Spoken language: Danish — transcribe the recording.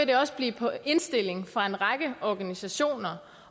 det også blive på indstilling fra en række organisationer